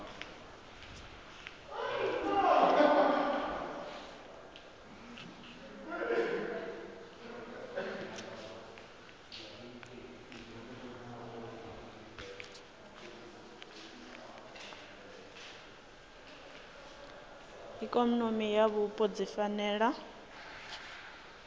ikonomi na vhupo dzi fanela